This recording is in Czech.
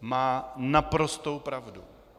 Má naprostou pravdu.